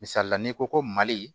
Misali n'i ko ko mali